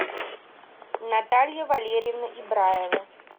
наталья валерьевна ибраева